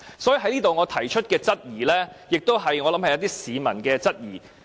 所以，我在這裏提出的質疑，亦是一些市民的質疑。